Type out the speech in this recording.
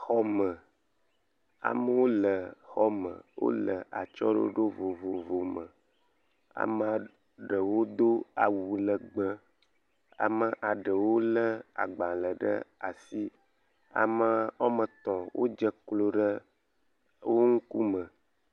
Xɔ me, amewo le xɔ me wole atsyɔ̃ɖoɖo vovovowo me ame ɖewo do awu legbee ame ɖewo lé agbalẽ ɖe asi, ame etɔ̃ wodze klo ɖe wo ŋkume.